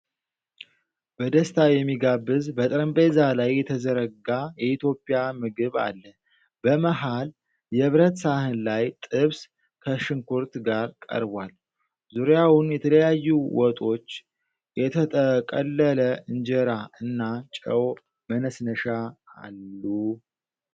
በደስታ የሚጋብዝ፣ በጠረጴዛ ላይ የተዘረጋ የኢትዮጵያ ምግብ አለ። በመሃል የብረት ሳህን ላይ ጥብስ ከሽንኩርት ጋር ቀርቧል፤ ዙሪያውን የተለያዩ ወጦች፣ የተጠቀለለ እንጀራ እና ጨው መነስነሻ አሉ።